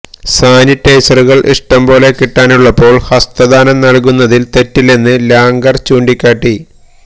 സാനിറ്റൈസറുകൾ ഇഷ്ടം പോലെ കിട്ടാനുള്ളപ്പോൾ ഹസ്തദാനം നൽകുന്നതിൽ തെറ്റില്ലെന്ന് ലാംഗർ ചൂണ്ടിക്കാട്ടി